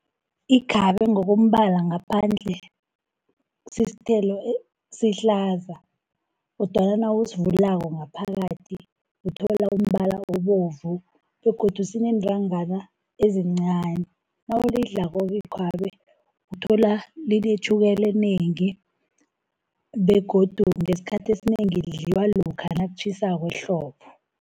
Ikhabe ngokombala ngaphandle sisithelo sihlaza, kodwana nawusivulako ngaphakathi uthola umbala obovu, begodu sineentangana ezincani. Nawulidlako-ke ikhabe uthola linetjhukela enengi, begodu ngesikhathi esinengi lidliwa lokha nakutjhisako ehlobo.